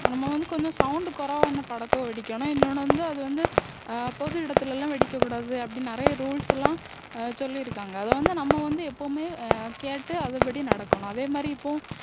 நம்ம வந்து கொஞ்சம் sound குறைவான படக்கா வெடிக்கணும் இன்யொன்னு வந்து அது வந்து அஹ் பொது இடத்திலெல்லாம் வெடிக்கக்கூடாது அப்படின்னு நிறைய rules எல்லாம் அஹ் சொல்லியிருக்காங்க அத வந்து நம்ம வந்து எப்பவுமே அஹ் கேட்டு அதன்படி நடக்கணும் அதே மாதிரி இப்போ